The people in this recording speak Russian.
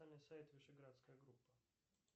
официальный сайт вишеградская группа